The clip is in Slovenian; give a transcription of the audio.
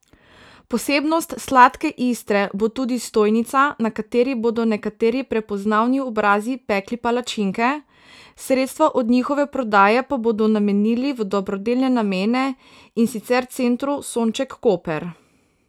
Posebnost Sladke Istre bo tudi stojnica, na kateri bodo nekateri prepoznavni obrazi pekli palačinke, sredstva od njihove prodaje pa bodo namenili v dobrodelne namene, in sicer Centru Sonček Koper.